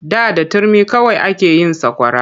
Da da turmi kawai ake yin sakwara.